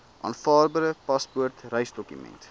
aanvaarbare paspoort reisdokument